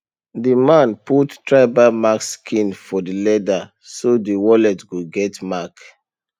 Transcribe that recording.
the man put tribal mark sign for the leather so the wallet go get mark